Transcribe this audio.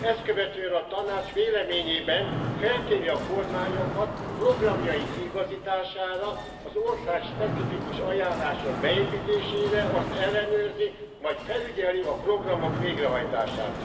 Ezt követően a Tanács véleményében felkéri a kormányokat programjuk kiigazítására, az országspecifikus ajánlások beépítésére, azt ellenőrzi, majd felügyeli a programok végrehajtását.